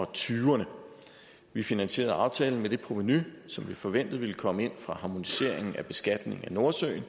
tyverne vi finansierede aftalen med det provenu som vi forventede ville komme ind fra harmoniseringen af beskatningen af nordsøolien